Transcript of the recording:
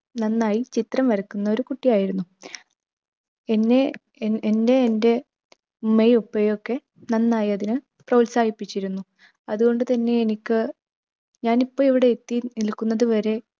നന്നായി ചിത്രം വരക്കുന്ന ഒരു കുട്ടിയായിരുന്നു എന്നെ എന്നെ എൻ്റെ ഉമ്മയും ഉപ്പയുമൊക്കെ നന്നായി അതിന് പ്രോത്സാഹിപ്പിച്ചിരുന്നു. അതുകൊണ്ട് തന്നെ എനിക്ക്, ഞാനിപ്പം ഇവിടെ എത്തി നിൽക്കുന്നത് വരെ